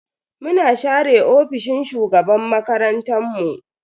Muna share ofishin shugaban makarantan mu.